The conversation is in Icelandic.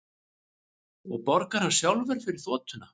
Og borgar hann sjálfur fyrir þotuna